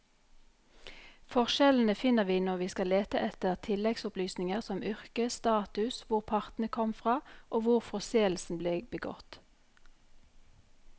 Forskjellene finner vi når vi skal lete etter tilleggsopplysninger som yrke, status, hvor partene kom fra og hvor forseelsen ble begått.